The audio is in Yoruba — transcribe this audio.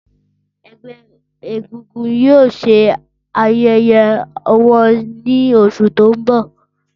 Ẹgbẹ egungun yoo ṣe ayẹyẹ wọn ni oṣu ti n bọ.